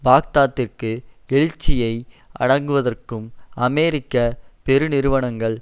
பாக்தாத்திற்கு எழுச்சியை அடக்குவதற்கும் அமெரிக்க பெருநிறுவனங்கள்